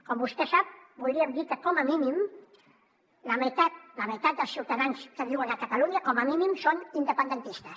com vostè sap podríem dir que com a mínim la meitat dels ciutadans que viuen a catalunya com a mínim són independentistes